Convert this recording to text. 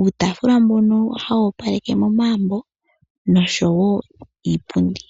uutafula mbona hawu opaleke momagumbu nosho iipundi